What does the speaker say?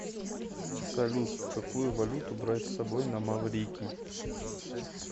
салют какую валюту брать с собой на маврикий